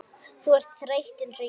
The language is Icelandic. Þú ert þreytt einsog ég.